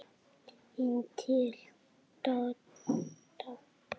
Inn til Dodda.